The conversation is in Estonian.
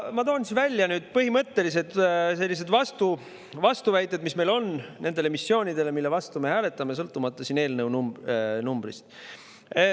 Ma toon ära põhimõttelised vastuväited, mis meil on nendele missioonidele, mille vastu me hääletame, sõltumata eelnõu numbrist.